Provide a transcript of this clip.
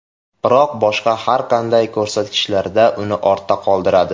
Biroq boshqa har qanday ko‘rsatkichlarda uni ortda qoldiradi.